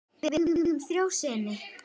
Við eigum þrjá syni.